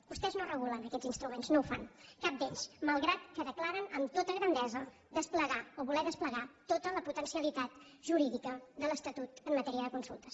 vostès no regulen aquests instruments no ho fan cap d’ells malgrat que declaren amb tota grandesa desplegar o voler desplegar tota la potencialitat jurídica de l’estatut en matèria de consultes